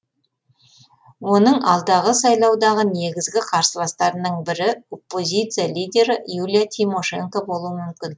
оның алдағы сайлаудағы негізгі қарсыластарының бірі оппозиция лидері юлия тимошенко болуы мүмкін